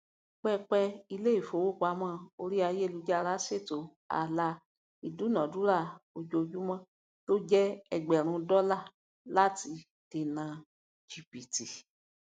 pẹpẹ ilé ifowopamọ orí ayélujára ṣètò ààlà ìdúnádára ojoojúmọ tó jẹ ẹgbẹrún dọlà láti dènà jìbítì